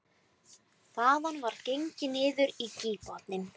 Þaðan var gengið niður á gígbotninn